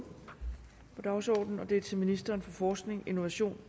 på dagsordenen og det er til ministeren for forskning innovation